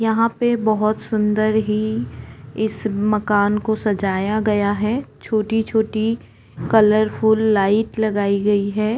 यहाँ पे बहौत सुंदर ही इस मकान को सजाया गया है छोटी-छोटी कलरफूल लाइट लगाई गई है।